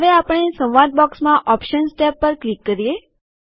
હવે આપણે સંવાદ બોક્સમાં ઓપ્શન્સ ટેબ પર ક્લિક કરીએ